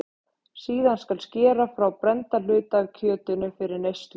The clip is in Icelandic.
Síðan skal skera frá brennda hluta af kjötinu fyrir neyslu.